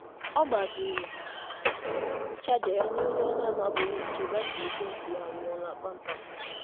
Ọ gbazinyere onye ọbịbịa ọbịbịa chaja ya mgbe batrị ekwentị ya nwụrụ kpamkpam.